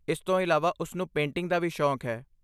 ਇਸ ਤੋਂ ਇਲਾਵਾ ਉਸ ਨੂੰ ਪੇਂਟਿੰਗ ਦਾ ਵੀ ਸ਼ੌਕ ਹੈ।